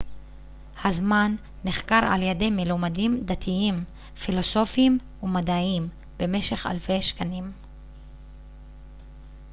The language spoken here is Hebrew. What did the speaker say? הזמן נחקר על ידי מלומדים דתיים פילוסופיים ומדעיים במשך אלפי שנים